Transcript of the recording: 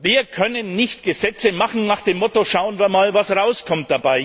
Wir können nicht Gesetze machen nach dem Motto Schauen wir mal, was dabei rauskommt.